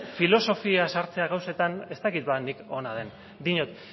filosofia sartzea gauzetan ez dakit ba nik ona den diot